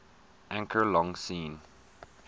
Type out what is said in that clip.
anchor long seen